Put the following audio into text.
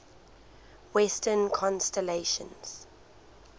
western constellations